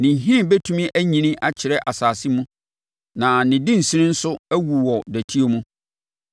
Ne nhini bɛtumi anyini akyɛre asase mu na ne dunsini nso awu wɔ dɔteɛ mu,